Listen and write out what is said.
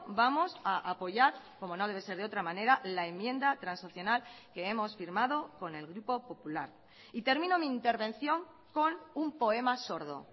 vamos a apoyar como no debe ser de otra manera la enmienda transaccional que hemos firmado con el grupo popular y termino mi intervención con un poema sordo